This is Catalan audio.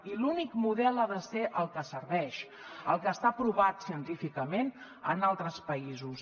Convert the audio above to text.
i l’únic model ha de ser el que serveix el que està aprovat científicament en altres països